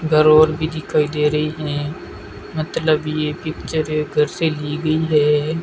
घर ओर भी दिखाई दे रही हैं मतलब ये पिक्चर एक घर से ली गई है।